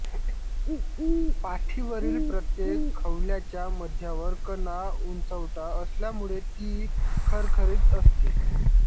पाठीवरील प्रत्येक खवल्याच्या मध्यावर कणा उंचवटा असल्यामुळे ती खरखरीत असते